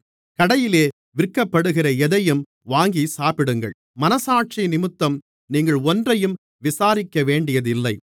கடையிலே விற்கப்படுகிற எதையும் வாங்கிச்சாப்பிடுங்கள் மனச்சாட்சியினிமித்தம் நீங்கள் ஒன்றையும் விசாரிக்கவேண்டியதில்லை